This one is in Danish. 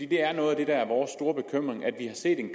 det er noget af det der er vores store bekymring at vi har set en